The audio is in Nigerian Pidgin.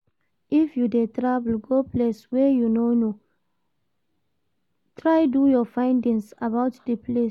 If you de travel go place wey you no know try do your findings about di place